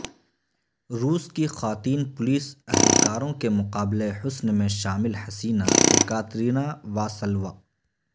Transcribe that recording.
روس کی خواتین پولیس اہلکاروں کے مقابلہ حسن میں شامل حسینا ایکاترینا واسلوا